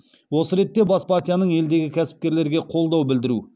осы ретте бас партияның елдегі кәсіпкерлерге қолдау білдіру